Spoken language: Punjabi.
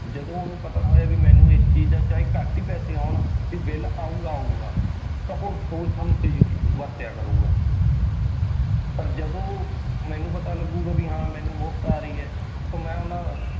ਜਦੋਂ ਉਹਨੂੰ ਪਤਾ ਹੋਇਆ ਵੀ ਮੈਨੂੰ ਇਸ ਚੀਜ਼ ਦਾ ਚਾਹੇ ਘੱਟ ਹੀ ਪੈਸੇ ਆਉਣ ਵੀ ਬਿੱਲ ਆਊਗਾ ਆਊਗਾ ਤਾਂ ਉਹ ਸੋਚ ਸਮਝ ਕੇ ਯੂ~ ਵਰਤਿਆ ਕਰੂਗਾ ਪਰ ਜਦੋਂ ਮੈਨੂੰ ਪਤਾ ਲੱਗੁਗਾ ਵੀ ਹਾਂ ਮੈਨੂੰ ਮੁਫ਼ਤ ਆ ਰਹੀ ਹੈ ਤਾਂ ਮੈਂ ਉਹਨਾਂ